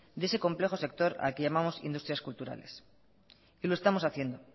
de ese complejo sector al que llamamos industrias culturales y lo estamos haciendo